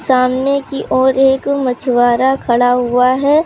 सामने की ओर एक मछुआरा खड़ा हुआ है।